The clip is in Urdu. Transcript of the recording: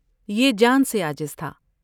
یہ جان سے عاجز تھا ۔